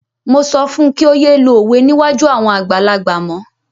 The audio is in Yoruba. Mo sọ fún un kí ó yé lo òwe níwájú àwọn àgbàlagbà mọ́.